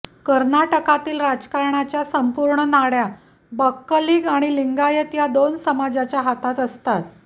कर्नाटकातील राजकारणाच्या संपूर्ण नाडया बक्कलिग आणि लिंगायत या दोन समाजाच्या हातात असतात